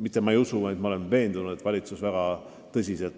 siis valitsus võtab neid ettepanekuid väga tõsiselt.